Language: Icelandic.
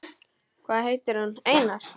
Hvað heitir hún, Einar?